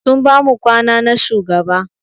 Sun bamu kwana na shugaba.